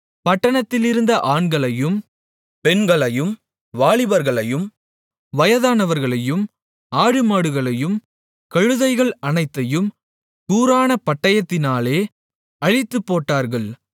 பட்டணத்திலிருந்த ஆண்களையும் பெண்களையும் வாலிபர்களையும் வயதானவர்களையும் ஆடுமாடுகளையும் கழுதைகள் அனைத்தையும் கூரான பட்டயத்தினால் அழித்துப்போட்டார்கள்